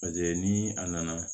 Paseke ni a nana